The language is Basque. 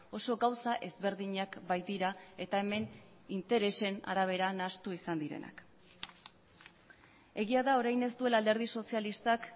oso gauza ezberdinak baitira eta hemen interesen arabera nahastu izan direnak egia da orain ez duela alderdi sozialistak